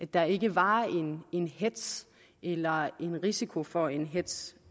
der ikke var en hetz eller risiko for en hetz